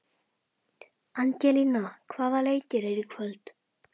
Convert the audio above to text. Angelína, hvaða leikir eru í kvöld?